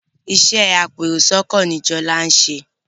Iṣé apẹ èrò sóko ní Jola nṣe.